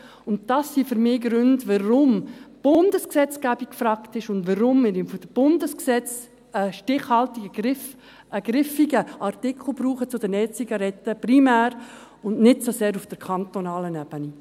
Dies sind für mich Gründe, weshalb die Bundesgesetzgebung gefragt ist und wir primär im Bundesgesetz einen griffigen Artikel zu den E-Zigaretten brauchen, aber nicht so sehr auf der kantonalen Ebene.